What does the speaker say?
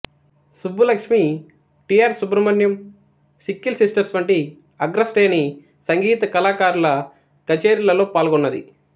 Subbulakshmi T R Subrahmanyam Sikkil sisters వంటి అగ్రశ్రేణి సంగీత కళాకారుల కచేరీలలో పాల్గొన్నది